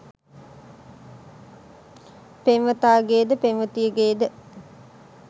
පෙම්වතාගේ ද පෙම්වතියගේ ද